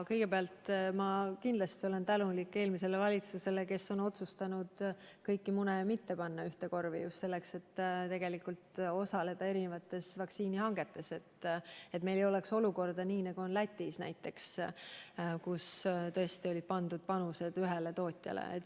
Kõigepealt ma kindlasti olen tänulik eelmisele valitsusele, kes on otsustanud kõiki mune mitte panna ühte korvi ja osaleda mitmes vaktsiinihankes, et meil ei oleks sellist olukorda, nagu on näiteks Lätis, kus tõesti olid pandud panused ühele tootjale.